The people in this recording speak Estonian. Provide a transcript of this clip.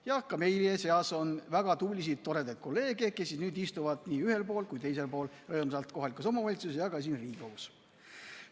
Jah, ka meie seas on väga tublisid toredaid kolleege, kes istuvad nii ühel pool kui teisel pool, nii kohalikus omavalitsuses kui ka siin Riigikogus.